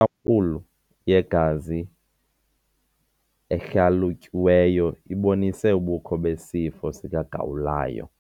ampulu yegazi ehlalutyiweyo ibonise ubukho besifo sikagawulayo.